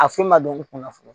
A foyi ma dɔn n kunna fɔlɔ